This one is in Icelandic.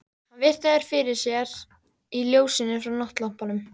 Hann virti þær fyrir sér í ljósinu frá náttlampanum.